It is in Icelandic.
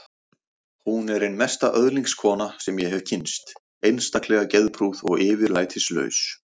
Hún er ein mesta öðlingskona sem ég hef kynnst, einstaklega geðprúð og yfirlætislaus.